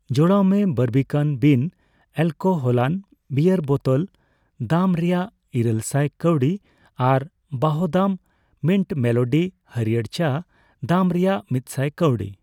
ᱡᱚᱲᱟᱣ ᱢᱮ ᱵᱟᱨᱵᱤᱠᱟᱱ ᱵᱤᱱ ᱮᱞᱠᱳᱦᱚᱞᱟᱱ ᱵᱤᱭᱟᱨ ᱵᱳᱛᱳᱞ ᱫᱟᱢ ᱨᱮᱭᱟᱜ ᱤᱨᱟᱹᱞ ᱥᱟᱭ ᱠᱟᱹᱣᱰᱤ ᱟᱨ ᱣᱟᱦᱫᱟᱢ ᱢᱤᱱᱴ ᱢᱮᱞᱳᱰᱤ ᱦᱟᱲᱭᱟᱹᱨ ᱪᱟ ᱫᱟᱢ ᱨᱮᱭᱟᱜ ᱢᱤᱛᱥᱟᱭ ᱠᱟᱹᱣᱰᱤ ᱾